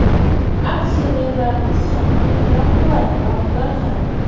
Aksionerlarimiz ham uni talab qiladi, banklar ham.